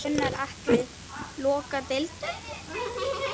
Gunnar Atli: Loka deildum?